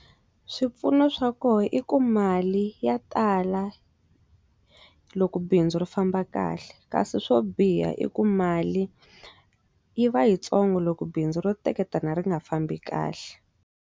Swipfuno swa kona i ku mali ya tala loko bindzu ri famba kahle kasi swo biha i ku mali yi va yitsongo loko bindzu ro teketela ri nga fambi kahle.